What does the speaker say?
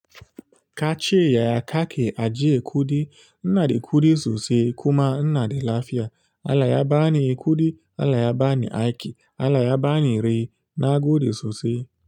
Ka ce yaya kake ajiye kuɗi. Ina da kuɗi sosai kuma ina da lafiya. Allah ya bani kuɗi, Allah ya bani aiki, Allah ya bani rai nagode sosai.